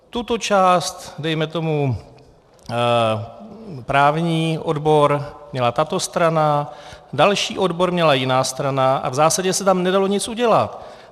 Tuto část, dejme tomu právní odbor, měla tato strana, další odbor měla jiná strana a v zásadě se tam nedalo nic udělat.